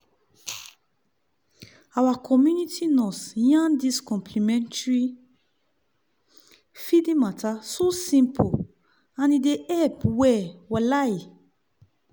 our community nurse yarn dis complementary feeding mata so simple and e dey help well walahi.